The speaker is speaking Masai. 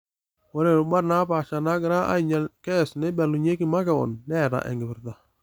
Ore rubat napaasha naagira ainyal KEC neibalunyeki makeon, neeta enkipirta